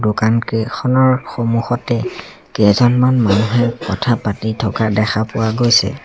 দোকানকেইখনৰ সন্মুখতে কেইজনমান মানুহে কথা পাতি থকা দেখা পোৱা গৈছে।